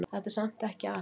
Þetta er samt ekki allt.